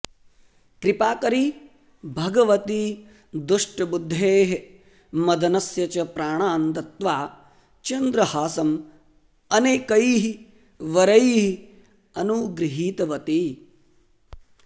कृपाकरी भगवती दुष्टबुद्धेः मदनस्य च प्राणान् दत्त्वा चन्द्रहासं अनेकैः वरैः अनुगृहीतवती